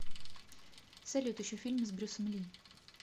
салют ищу фильмы с брюсом ли